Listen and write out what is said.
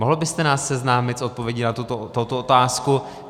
Mohl byste nás seznámit s odpovědí na tuto otázku?